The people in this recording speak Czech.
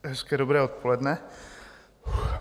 Hezké dobré odpoledne.